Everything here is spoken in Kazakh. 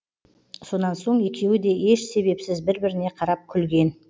сонан соң екеуі де еш себепсіз бір біріне қарап күлген